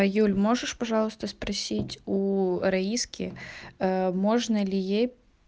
а юль можешь пожалуйста спросить у раиски можно ли ей